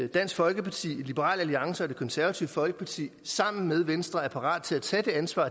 dansk folkeparti liberal alliance og det konservative folkeparti sammen med venstre er parate til at tage det ansvar